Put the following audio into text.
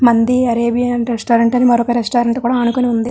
మంది Arabian restaurant అని మరొక రెస్టారెంట్ కూడా ఆనుకోని ఉంది.